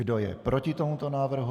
Kdo je proti tomuto návrhu?